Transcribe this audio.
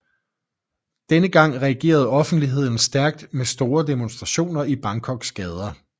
Denne gang reagerede offentligheden stærkt med store demonstrationer i Bangkoks gader